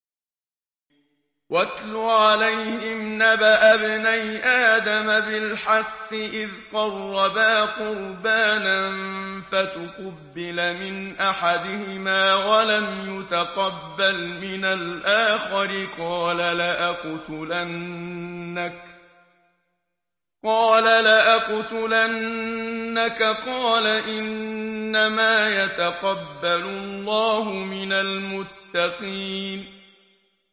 ۞ وَاتْلُ عَلَيْهِمْ نَبَأَ ابْنَيْ آدَمَ بِالْحَقِّ إِذْ قَرَّبَا قُرْبَانًا فَتُقُبِّلَ مِنْ أَحَدِهِمَا وَلَمْ يُتَقَبَّلْ مِنَ الْآخَرِ قَالَ لَأَقْتُلَنَّكَ ۖ قَالَ إِنَّمَا يَتَقَبَّلُ اللَّهُ مِنَ الْمُتَّقِينَ